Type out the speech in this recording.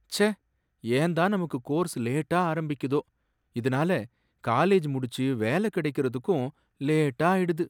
ச்சே, ஏன் தான் நமக்கு கோர்ஸ் லேட்டா ஆரம்பிக்குதோ! இதுனால காலேஜ் முடிச்சு வேலை கடைக்கிறதுக்கும் லேட்டா ஆயிடுது.